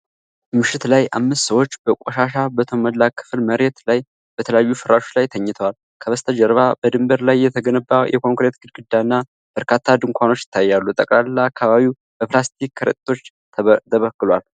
ምሽት ላይ አምስት ሰዎች በቆሻሻ በተሞላ ክፍት መሬት ላይ በተለያዩ ፍራሾች ላይ ተኝተዋል። ከበስተጀርባ በድንበር ላይ የተገነባ የኮንክሪት ግድግዳ እና በርካታ ድንኳኖች ይታያሉ። ጠቅላላ አካባቢው በፕላስቲክ ከረጢቶች ተበክሏል፡፡